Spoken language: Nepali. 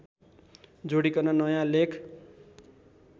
जोडिकन नयाँ लेख